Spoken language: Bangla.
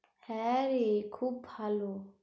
হ্যাঁ রে খুব ভালো।